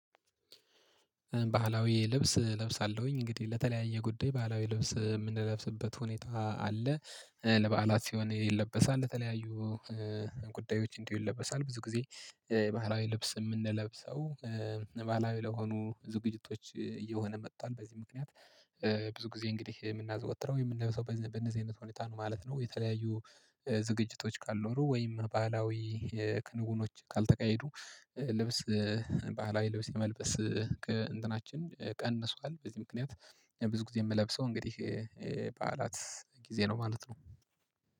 ባህላዊ ልብስ እለብሳለሁኝ። እንግዲህ ለተለያየ ጉዳይ ባህላዊ ልብስ የምንለብስበት ሁኔታ አለ። ለበዓላት ሲሆን ይለበሳል። ለተለያዩ ጉዳዮች እንዲሁ ይለበሳል። ብዙ ጊዜ የባህላዊ ልብስ የምንለብሰው ባህላዊ ለሆኑ ዝግጅቶች እየሆነ መጥቷል። በዚህ ምክንያት ብዙ ጊዜ እንግዲህ የምናዘወትረው የምንለበሰው በነዚህ አይነት ሁኔታ ነው ማለት ነው። የተለያዩ ዝግጅቶች ካልኖሩ ወይም ባህላዊ ክንውኖች ካልተካሄዱ ልብስ ባህላዊ ልብስ የመልበስ እንትናችን ቀንሷል። በዚህ ምክንያት ብዙ ጊዜ የምለብሰው እንግዲህ በዓላት ጊዜ ነው ማለት ነው።